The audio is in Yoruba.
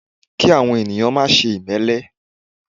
Kí àwọn ènìyàn máà ṣe ìmélé